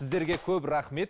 сіздерге көп рахмет